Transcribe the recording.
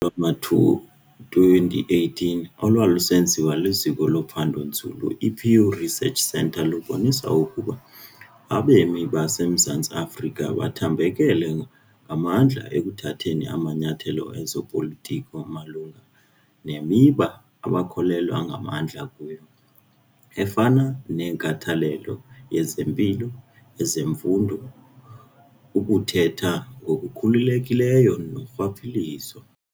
wama-2018 olwalusenziwa liziko lophando-nzulu i-Pew Research Centre lubonisa ukuba abemi baseMzantsi Afrika bathambekele ngamandla ekuthatheni amanyathelo ezopolitiko malunga nemiba abakholelwa ngamandla kuyo, efana nenkathalelo yezempilo, ezemfundo, ukuthetha ngokukhululekileyo norhwaphilizo.